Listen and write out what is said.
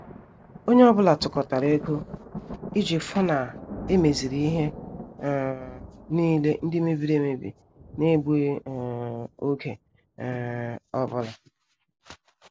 Onye ọ bụla tukotara ego iji fu na emeziri ihe um niile ndị mebiri emebi n' egbughi um oge um ọbụla